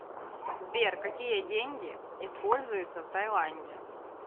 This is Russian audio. сбер какие деньги используются в тайланде